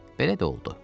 Belə də oldu.